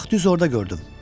Bax düz orada gördüm.